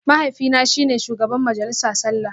Mahaifina shi ne shugaban majalisa sallah